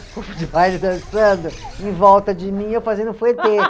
O corpo de baile dançando em volta de mim, eu fazendo